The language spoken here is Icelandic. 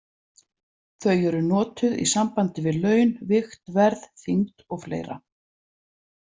Þau eru notuð í sambandi við laun, vigt, verð, þyngd og fleira